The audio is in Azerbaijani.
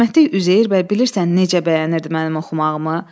Rəhmətlik Üzeyir bəy bilirsən necə bəyənirdi mənim oxumağımı?